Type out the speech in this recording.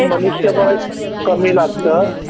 मनुष्याबळ कमी लागतं.